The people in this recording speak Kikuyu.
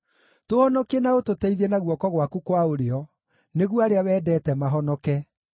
Tũhonokie na ũtũteithie na guoko gwaku kwa ũrĩo, nĩguo arĩa wendete mahonoke.